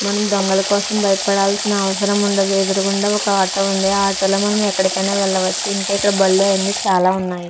మనం దొంగలు కోసం భయపడాల్సిన అవసరం ఉండదు. ఎదురుగుండా ఒక ఆటో ఉంది. ఆ ఆటో లో మనం ఎక్కడికైనా వెళ్ళవచ్చు. ఇంకా ఇక్కడ బళ్ళు అవి చాలా ఉన్నాయి.